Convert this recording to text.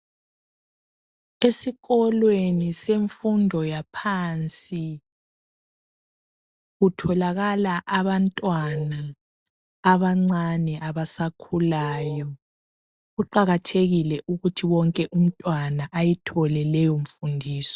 Esikolweni semfundo yaphansi kutholakala abantwana abancani abasakhulayo, kuqakathekile ukuthi wonke umntwana ayithole leyo mfundiso